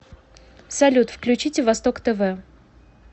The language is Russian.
салют включите восток тв